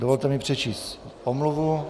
Dovolte mi přečíst omluvu.